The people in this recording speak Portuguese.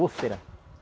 Úlcera.